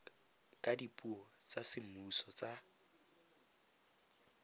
ka dipuo tsa semmuso tsa